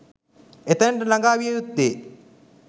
එතැනට ළඟා විය යුත්තේ